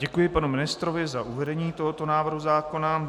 Děkuji panu ministrovi za uvedení tohoto návrhu zákona.